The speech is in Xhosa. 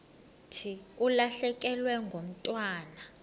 thi ulahlekelwe ngumntwana